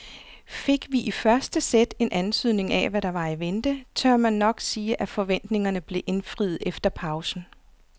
Fik vi i første sæt en antydning af hvad der var i vente, tør man nok sige at forventningerne blev indfriet efter pausen.